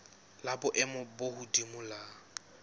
la boemo bo hodimo la